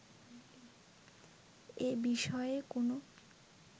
এ বিষয়ে কোনো